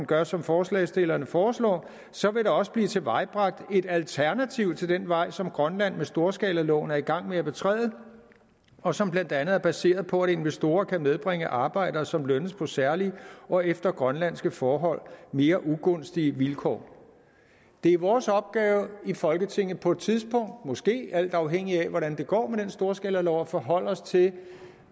gør som forslagsstillerne foreslår så vil der også blive tilvejebragt et alternativ til den vej som grønland med storskalaloven er i gang med at betræde og som blandt andet er baseret på at investorer kan medbringe arbejdere som lønnes på særlige og efter grønlandske forhold mere ugunstige vilkår det er vores opgave i folketinget på et tidspunkt måske alt afhængigt af hvordan det går med den storskalalov at forholde os til